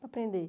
Para aprender.